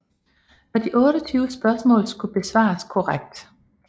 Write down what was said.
Og de 28 spørgsmål skulle besvares korrekt